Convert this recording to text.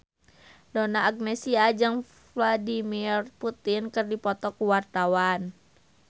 Donna Agnesia jeung Vladimir Putin keur dipoto ku wartawan